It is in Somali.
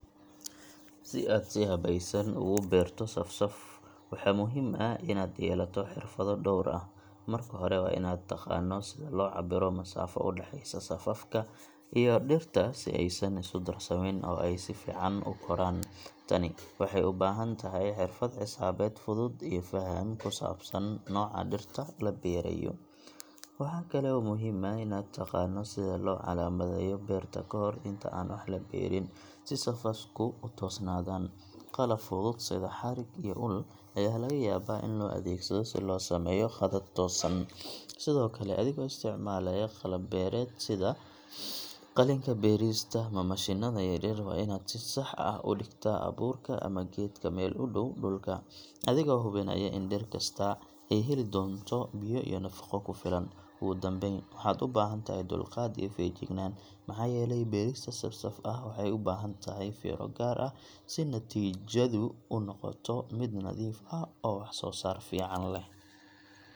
Si aad si habaysan ugu beerto saf-saf, waxaa muhiim ah in aad yeelato xirfado dhowr ah. Marka hore, waa in aad taqaano sida loo cabbiro masaafo u dhaxeysa safafka iyo dhirta si aysan isu darsamin oo ay si fiican u koraan. Tani waxay u baahan tahay xirfad xisaabeed fudud iyo faham ku saabsan nooca dhirta la beeraayo. Waxaa kale oo muhiim ah in aad taqaano sida loo calaamadeeyo beerta ka hor inta aan wax la beerin, si safafku u toosnaadaan. Qalab fudud sida xarig iyo ul ayaa laga yaabaa in loo adeegsado si loo sameeyo khadad toosan. Sidoo kale, adigoo isticmaalaya qalab beereed sida qalinka beerista ama mashiinnada yaryar, waa in aad si sax ah u dhigtaa abuurka ama geedka meel u dhow dhulka, adigoo hubinaya in dhir kastaa ay heli doonto biyo iyo nafaqo ku filan. Ugu dambeyn, waxaad u baahan tahay dulqaad iyo feejignaan, maxaa yeelay beerista saf-saf ah waxay u baahan tahay fiiro gaar ah si natiijadu u noqoto mid nadiif ah oo wax-soo-saar fiican leh.